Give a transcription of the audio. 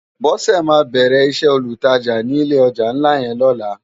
Bose má bèrè isè ólútàjá ni ilé òjá nlá yèn lòlá